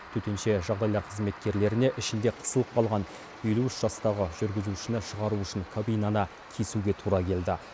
төтенше жағдайлар қызметкерлеріне ішінде қысылып қалған елу үш жастағы жүргізушіні шығару үшін кабинаны кесуге тура келді